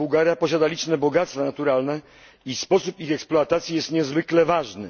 Bułgaria posiada liczne bogactwa naturalne i sposób ich eksploatacji jest niezwykle ważny.